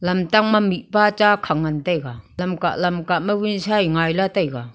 lamtang ma mihpa ta khang ngan taiga lamka lamka wunsa e ngai lah taiga.